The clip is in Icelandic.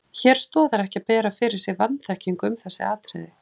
Hér stoðar ekki að bera fyrir sig vanþekkingu um þessi atriði.